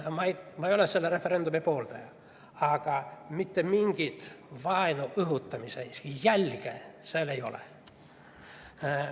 Ma ei ole selle referendumi pooldaja, aga mitte mingit vaenu õhutamise jälge seal ei ole.